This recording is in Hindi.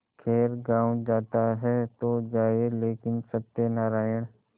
खैर गॉँव जाता है तो जाए लेकिन सत्यनारायण